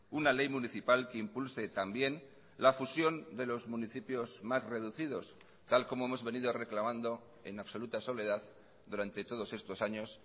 una ley municipal que impulse también la fusión de los municipios más reducidos tal como hemos venido reclamando en absoluta soledad durante todos estos años